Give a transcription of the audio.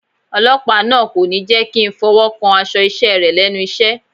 Ọlọ́pàá náà kò ní jẹ́kí ń fọwọ́ kan aṣọ iṣẹ́ rẹ̀ lẹ́nu iṣẹ́.